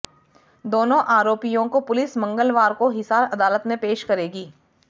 दोनों आरोपियों को पुलिस मंगलवार को हिसार अदालत में पेश करेगी